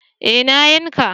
Eh na yanka